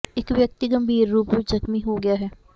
ਇਕ ਵਿਅਕਤੀ ਗੰਭੀਰ ਰੂਪ ਵਿਚ ਜ਼ਖ਼ਮੀ ਹੋ ਗਿਆ ਹੈ